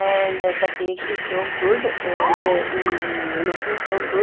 and the cake is so good um looking so good.